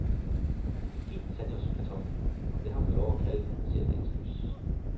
En fin sandjordskartoffel, og det har man vel lov at kalde den, ser dagens lys.